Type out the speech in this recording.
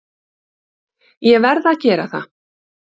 Ég verð að gera það.